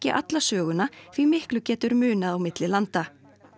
alla söguna því miklu getur munað á milli landa